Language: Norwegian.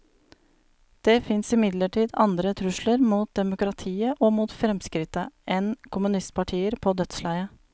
Det fins imidlertid andre trusler mot demokratiet, og mot fremskrittet, enn kommunistpartier på dødsleiet.